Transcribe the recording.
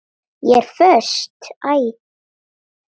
Ég er föst.